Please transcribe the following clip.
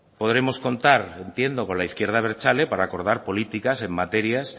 podremos contar entiendo con la izquierda abertzale para acordar políticas en materias